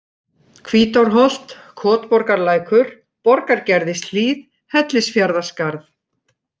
Hvítárholt, kotborgarlækur, Borgargerðishlíð, Hellisfjarðarskarð